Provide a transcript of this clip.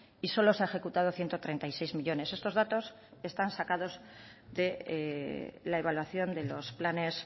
y solo se han ejecutado ciento treinta y seis millónes estos datos están sacados de la evaluación de los planes